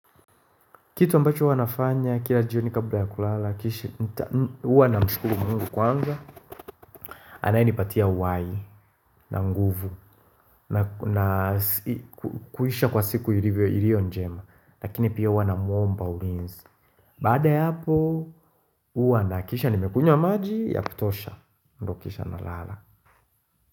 Kitu ambacho huwanafanya kila jio ni kabula ya kulala Kishi uwa na mshukuru mungu kwanza anaye nipatia uhai na nguvu na kuisha kwa siku ilio njema Lakini pia uwa na mwomba ulinzi Baada ya hapo uwa na hakikisha nimekunywa maji ya kutosha ndo kisha na lala.